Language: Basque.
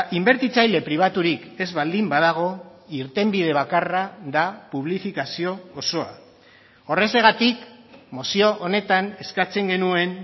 inbertitzaile pribaturik ez baldin badago irtenbide bakarra da publifikazio osoa horrexegatik mozio honetan eskatzen genuen